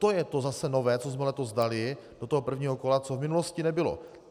To je zase to nové, co jsme letos dali do toho prvního kola, co v minulosti nebylo.